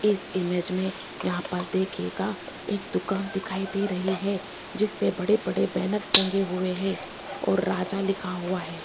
इस इमेज में यहां पर देखिएगा एक दुकान दिखाई दे रही है जिसपे बड़े बड़े बैनर्स टंगे हुए हैं और राजा लिखा हुआ है।